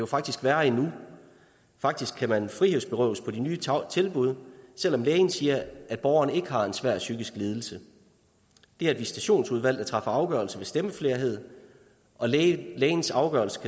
faktisk værre endnu faktisk kan man frihedsberøves på de nye tilbud selv om lægen siger at borgerne ikke har en svær psykisk lidelse det er et visitationsudvalg der træffer afgørelse ved stemmeflerhed og lægens afgørelse